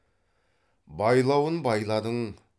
байлауын байладың